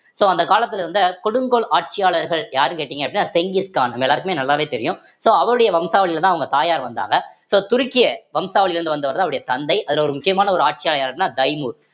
so அந்த காலத்துல இருந்த கொடுங்கோல் ஆட்சியாளர்கள் யாருன்னு கேட்டீங்க அப்படின்னா செங்கிஸ் கான் நம்ம எல்லாருக்குமே நல்லாவே தெரியும் so அவருடைய வம்சாவழியிலதான் அவுங்க தாயார் வந்தாங்க so துருக்கிய வம்சாவழியில இருந்து வந்தவர்தான் அவருடைய தந்தை அதுல ஒரு முக்கியமான ஒரு ஆட்சியர் யாரு அப்படின்னா தைமூர்